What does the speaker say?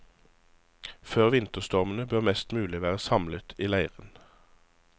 Før vinterstormene bør mest mulig være samlet i leiren.